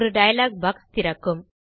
ஒரு dialogue box திறக்கும்